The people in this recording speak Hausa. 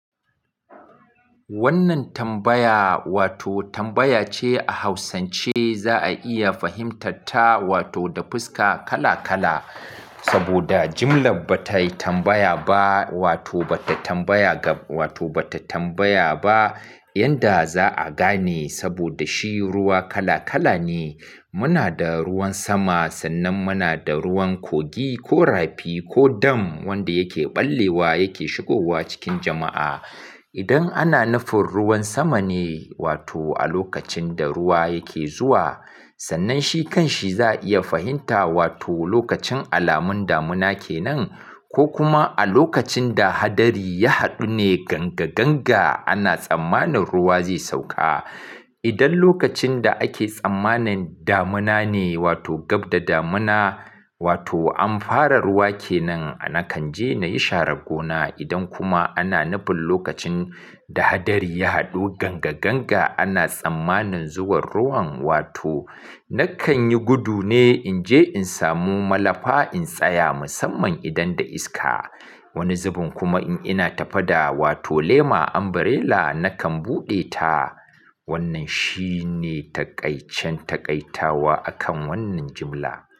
Wannan tambaya wato tambaya ce a Hausance za a iya fahimtarta wato da fuska kala kala. Saboda jimlar ba ta tambaya ba wato ba ta tambaya ga wato ba ta tambaya ba yadda za a gane saboda shi ruwa kala kala ne. Muna da ruwan sama sannan muna da ruwan kogi ko rafi ko dam wanda yakeɓallewa yake shigowa cikin jama'a. Idan ana nufin ruwan sama ne wato a lokacin da ruwa yake zuwa, sannan shi kanshi za a iya fahimta wato lokacin alamun damuna ke nan ko kuma a lokacin da hadari ya haɗu ne ganga ganga ana tsammanin ruwa zai sauka. Idan lokacin da ake tsammanin damuna ne wato gab da damuna wato an fara ruwa ke nan, nakan je na yi sharar gona. Idan kuma ana nufin lokacin da hadari ya haɗu ganga ganga ana tsammanin zuwan ruwan wato nakan yi gudu ne in je in samu malafa in tsaya musamman idan da iska. Wani zubin kuma in ina tafe da wato lema, umbrella na kan bude ta wannan shine takaicen takaitawa akan wannan jimla.